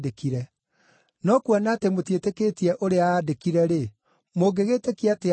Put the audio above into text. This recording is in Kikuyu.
No kuona atĩ mũtiĩtĩkĩtie ũrĩa aandĩkire-rĩ, mũngĩgĩtĩkia atĩa ũrĩa njugaga?”